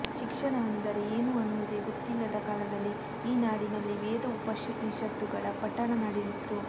ಶಿಕ್ಷಣ ಅಂದರೆ ಏನು ಅನ್ನುವುದೇ ಗೊತ್ತಿಲ್ಲದ ಕಾಲದಲ್ಲಿ ಈ ನಾಡಿನಲ್ಲಿ ವೇದ ಉಪನಿಷತ್ತುಗಳ ಪಠಣ ನಡೆದಿತ್ತು